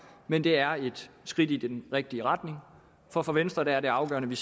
men det er et skridt i den rigtige retning og for venstre er det afgørende